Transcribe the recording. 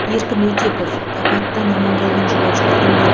еркін өтепов апаттан аман қалған жолаушылардың бірі